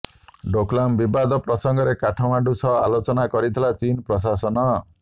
ଡୋକଲାମ ବିବାଦ ପ୍ରସଙ୍ଗରେ କାଠମାଣ୍ଡୁ ସହ ଆଲୋଚନା କରିଥିଲା ଚୀନ୍ ପ୍ରଶାସନ